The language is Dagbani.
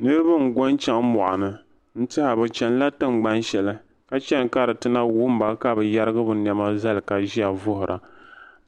Niribi n go n chaŋ moɣuni n tɛha bɛ chanila tingban shɛli ka chani ka di tina wumba ka bɛ yarigi bɛ nɛma zali ka ʒiya vuhira